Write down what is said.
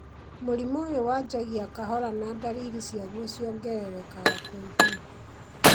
mũrimũ ũyũ wanjagia kahora na ndariri ciaguo ciongererekaga kwa ihinda